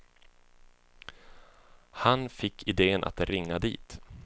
Han fick iden att ringa dit.